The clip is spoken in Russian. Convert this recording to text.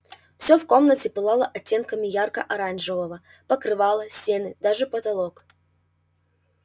всё в комнате пылало оттенками ярко-оранжевого покрывало стены даже потолок